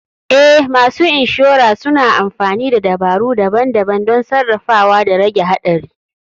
Eh, masu insurer suna amfani da dabaru daban-daban don sarrafawa da rage haɗari.